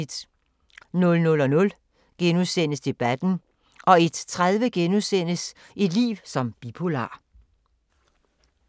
00:00: Debatten * 01:30: Et liv som bipolar *